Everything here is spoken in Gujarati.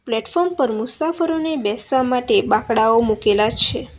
પ્લેટફોર્મ પર મુસાફરોને બેસવા માટે બાકડાઓ મુકેલા છે.